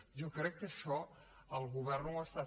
jo crec que això el govern ho fa